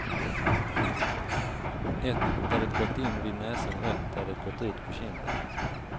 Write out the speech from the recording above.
Ett där det gått in vid näsan och ett där det gått ut på kinden.